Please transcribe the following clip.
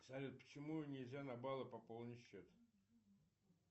салют почему нельзя на баллы пополнить счет